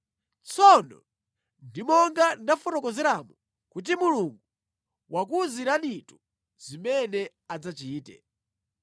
“Tsono ndi monga ndafotokozeramu kuti Mulungu wakuwuziranitu zimene adzachite.